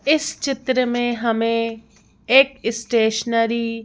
इस चित्र में हमें एक स्टेशनरी --